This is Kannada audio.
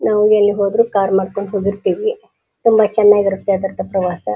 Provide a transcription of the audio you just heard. ನಾವು ಎಲ್ಲಿ ಹೋದ್ರು ಕಾರ್ ಮಾಡ್ಕೊಂಡ್ ಹೋಗಿರ್ತಿವಿ ತುಂಬಾ ಚೆನ್ನಾಗಿ ಇರುತ್ತೆ ಅದ್ರ ಪ್ರವಾಸ.